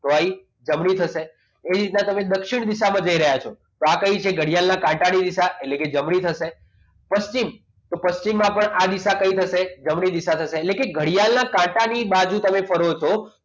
તોય જમણી થશે એ રીતના તમે દક્ષિણ દિશામાં જઈ રહ્યા છો તો આ કઈ ઘડિયાળ ની દિશા એટલે જમણી થશે પશ્ચિમ તો પશ્ચિમમાં પણ આ દિશા કઈ થશે જમણી દિશા થશે એટલે કે ઘડિયાળના કાંટાની બાજુ તમે ફરો છો